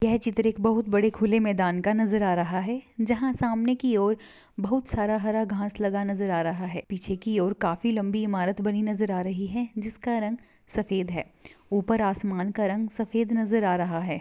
यह चित्र एक बहुत बड़े खुले मैदान का नजर आ रहा है जहा सामने की और बहुत सारा हरा घास लगा नजर आ रहा है पीछे की और काफी लंबी इमारत बनी नजर आ रही है जिसका रंग सफ़ेद है ऊपर आसमान का रंग सफ़ेद नजर आ रहा है।